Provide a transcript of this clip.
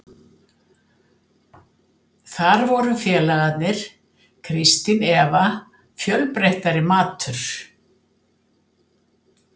Þar voru félagarnir, Kristín Eva, fjölbreyttari matur.